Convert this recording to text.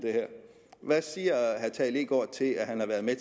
hvad siger herre tage leegaard til at han har været med